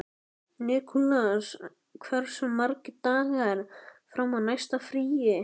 Nikulás, hversu margir dagar fram að næsta fríi?